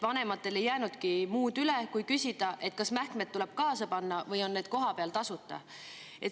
Vanematel ei jäänudki muud üle kui küsida, et kas mähkmed tuleb kaasa panna või on need kohapeal tasuta.